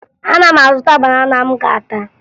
Ana m azụta banana m ga-ata